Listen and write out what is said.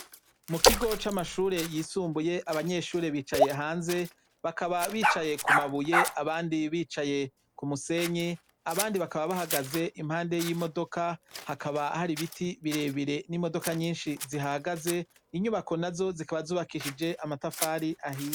Mu kigo c'amashure yisumbuye abanyeshure bicaye hanze, bakaba bicaye ku mabuye, abandi bicaye ku musenyi, abandi bakaba bahagaze impande y'imodoka, hakaba hari ibiti birebire n'imodoka nyinshi zihahagaze, inyubako nazo zikaba zubakishije amatafari ahiye.